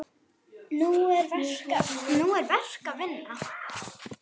Nú er verk að vinna.